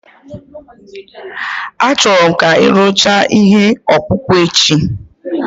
Achọrọ m ka ị rụchaa ihe ọkpụkpụ echi